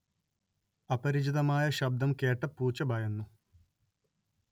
അപരിചിതമായ ശബ്ദം കേട്ട പൂച്ച ഭയന്നു